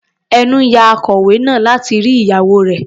Ẹnú ya akọlwé náà láti rí ìyàwó rẹ̀.